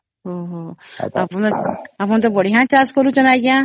ଊ ହୂ ଆପଣ ଟା ବଢିଆ ଚାଷ କରୁଛନ ଆଂଜ୍ଞା